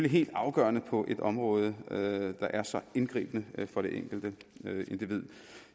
helt afgørende på et område der er så indgribende for det enkelte individ